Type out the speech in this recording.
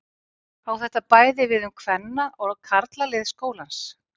Á þetta bæði við um kvenna- og karlalið skólans.